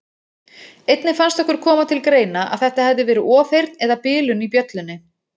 Einnig fannst okkur koma til greina að þetta hefði verið ofheyrn eða bilun í bjöllunni.